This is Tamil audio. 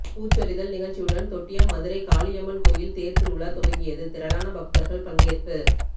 பூச்சொரிதல் நிகழ்ச்சியுடன் தொட்டியம் மதுரைகாளியம்மன் கோயில் தேர்திருவிழா துவங்கியது திரளான பக்தர்கள் பங்கேற்பு